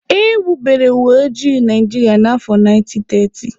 E wubere uweoji Naijiria na afọ 1930